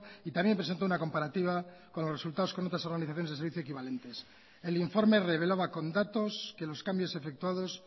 y también presentó una comparativa con los resultados con otras organizaciones de servicio equivalentes el informe revelaba con datos que los cambios efectuados